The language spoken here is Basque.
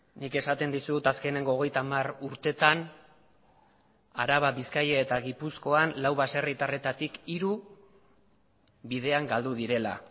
nik esaten dizut azkeneko hogeita hamar urteetan araba bizkaia eta gipuzkoan lau baserritarretatik hiru bidean galdu direla